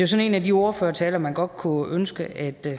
sådan en af de ordførertaler man godt kunne ønske at